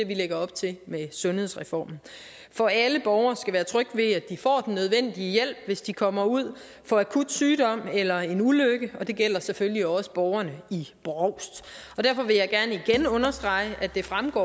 vi lægger op til med sundhedsreformen for alle borgere skal være trygge ved at de får den nødvendige hjælp hvis de kommer ud for akut sygdom eller en ulykke og det gælder selvfølgelig også borgerne i brovst derfor vil jeg gerne igen understrege at det fremgår